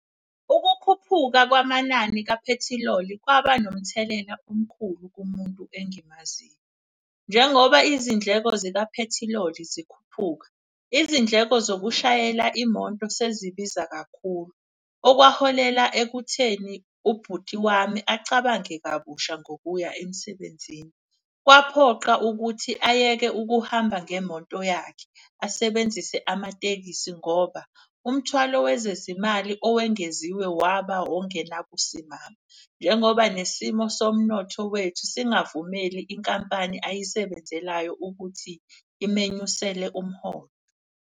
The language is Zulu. Ukukhuphuka kwamanani kaphethiloli kwaba nomthelela omkhulu kumuntu engimaziyo. Njengoba izindleko zikaphethiloli zikhuphuka, izindleko zokushayela imonto sezibiza kakhulu. Okwaholela ekutheni ubhuti wami acabange kabusha ngokuya emsebenzini. Kwaphoqa ukuthi ayeke ukuhamba ngemoto yakhe asebenzise amatekisi ngoba umthwalo wezezimali owengeziwe waba ongenakusimama. Njengoba nesimo somnotho wethu singavumeli inkampani ayisebenzelayo ukuthi imenyusele umholo.